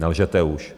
Nelžete už.